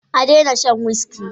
A daina shan wuski